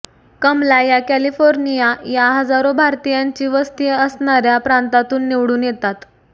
कमला या कॅलिफोर्निया या हजारो भारतीयांची वस्ती असणाऱ्या प्रांतातून निवडून येतात